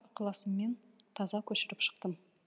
ықыласыммен таза көшіріп шықтым